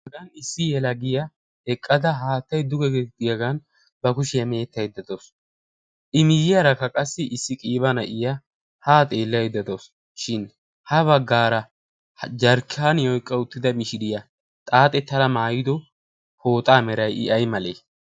Issi geel'iya eqqada haattay duge goggiyaagan ba kushiya meetayda daawusu. I miyiyarakka qassi issi qiibya na'iya haa xeelaydda daawusu. shin ha baggaara jarkkaaniya oyqqa uttidda mishiriya xaaxxettada maayiddo pooxaa meray I ay malee?